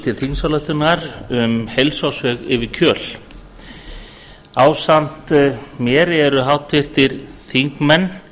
til þingsályktunar um heilsársveg yfir kjöl ásamt mér eru háttvirtir þingmenn